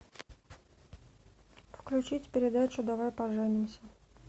включить передачу давай поженимся